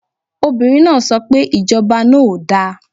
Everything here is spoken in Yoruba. Obìnrin náà so pe Ìjọba náà ò da